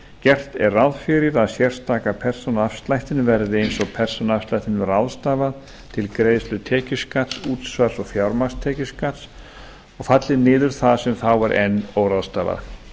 gert er ráð fyrir að sérstaka persónuafslættinum verði eins og persónuafslættinum ráðstafað til greiðslu tekjuskatts útsvars og fjármagnstekjuskatts og falli niður það sem þá er enn óráðstafað